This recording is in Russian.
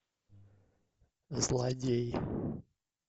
злодей